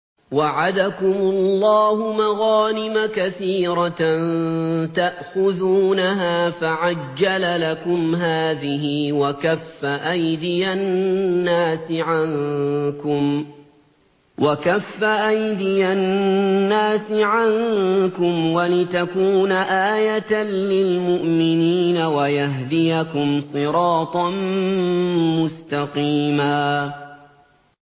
وَعَدَكُمُ اللَّهُ مَغَانِمَ كَثِيرَةً تَأْخُذُونَهَا فَعَجَّلَ لَكُمْ هَٰذِهِ وَكَفَّ أَيْدِيَ النَّاسِ عَنكُمْ وَلِتَكُونَ آيَةً لِّلْمُؤْمِنِينَ وَيَهْدِيَكُمْ صِرَاطًا مُّسْتَقِيمًا